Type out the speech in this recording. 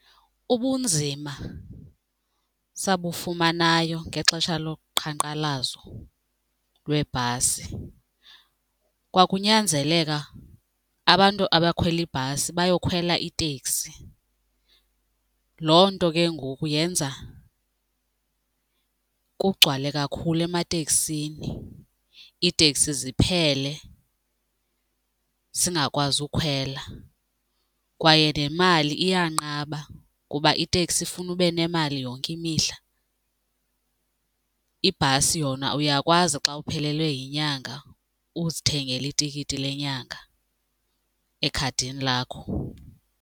Ubunzima sabufumanayo ngexesha loqhankqalazo lweebhasi kwakunyanzeleka abantu abakhwela ibhasi bayokhwela iteksi. Loo nto ke ngoku yenza kugcwale kakhulu emateksini, iiteksi ziphele singakwazi ukhwela kwaye nemali iyanqaba ngoba iteksi ifuna ube nemali yonke imihla. Ibhasi yona uyakwazi xa uphelelwe yinyanga uzithengele itikiti lenyanga ekhadini lakho.